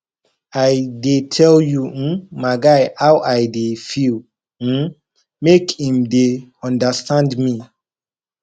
i dey tell um my guy how i dey feel um make im dey understand me